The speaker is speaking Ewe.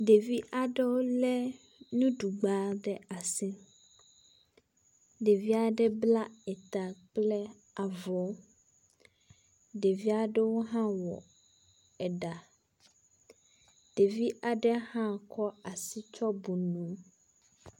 Ɖevi aɖewo lé nuɖugba ɖe asi. Ɖevi aɖe bla eta kple avɔ. Ɖevi aɖewo hã wɔ eɖa. Ɖevi aɖe hã kɔ asi tsɔ bu mo.